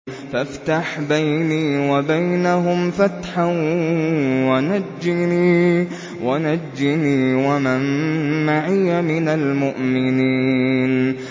فَافْتَحْ بَيْنِي وَبَيْنَهُمْ فَتْحًا وَنَجِّنِي وَمَن مَّعِيَ مِنَ الْمُؤْمِنِينَ